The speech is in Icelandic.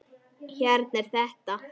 Hérna er þetta!